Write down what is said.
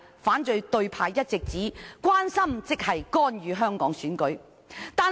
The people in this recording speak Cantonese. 反對派卻一直指中央的關注是對香港選舉的干預。